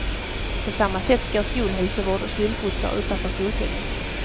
På samma sätt går skolhälsovård och skolskjutsar utanför skolpengen.